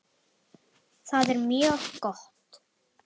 Það er mjög gott.